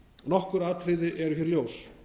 nokkur atriði eru hér ljós